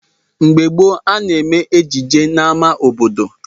Mgbe gboo, a na-eme ejije n'ámá obodo.